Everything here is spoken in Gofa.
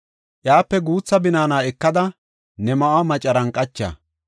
Iyape guutha binaana ekada, ne ma7uwa macaran qacha.